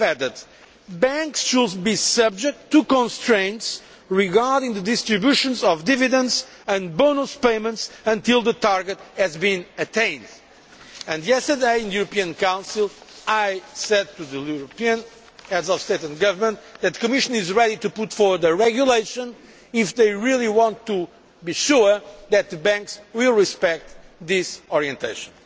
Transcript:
that banks should be subject to constraints regarding the distribution of dividends and bonus payments until the target has been attained. Yesterday, in the European Council, I said to the European Heads of State and Government that the Commission is ready to bring forward a regulation if they really want to be sure that the banks will respect this orientation.